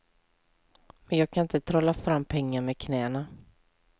Men jag kan inte trolla fram pengar med knäna.